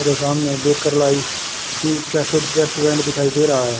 मेरे सामने cafe restaurant दिखाई दे रहा है।